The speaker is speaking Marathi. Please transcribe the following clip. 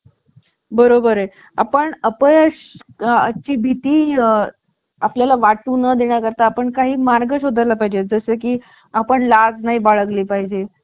बरोबर आहे. आपण अपयशा ची भीती आपल्या ला वाटू न देण्या करता आपण काही मार्ग शोध ला पाहिजे. जसं की आपण लाज नाही बाळगली पाहिजे